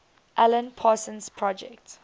alan parsons project